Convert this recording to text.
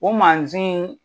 O mansin